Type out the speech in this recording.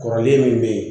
Kɔrɔlen min be yen